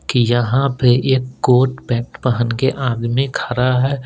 की यहाँ पे एक कोट पैंट पहन के आदमी खड़ा है।